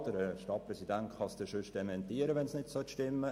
Der Stadtpräsident kann es dann dementieren, wenn es nicht stimmt.